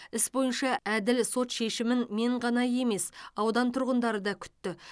іс бойынша әділ сот шешімін мен ғана емес аудан тұрғындары да күтті